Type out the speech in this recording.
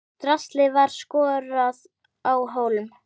Draslið var skorað á hólm.